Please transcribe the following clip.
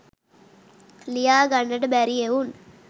ලියා ගන්නට බැරි එවුන්